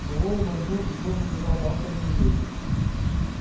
мэллоу моргнул и вновь указал бластером на дверь